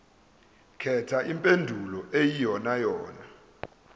khetha impendulo eyiyonayona